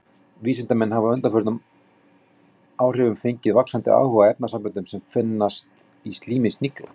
Vísindamenn hafa á undanförnum áhrifum fengið vaxandi áhuga á efnasamböndum sem finnast í slími snigla.